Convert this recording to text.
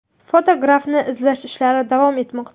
Fotografni izlash ishlari davom etmoqda.